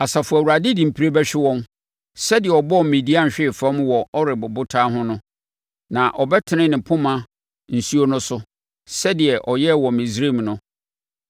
Asafo Awurade de mpire bɛhwe wɔn, sɛdeɛ ɔbɔɔ Midian hwee fam wɔ Oreb Ɔbotan ho no; na ɔbɛtene ne poma nsuo no so, sɛdeɛ ɔyɛɛ wɔ Misraim no.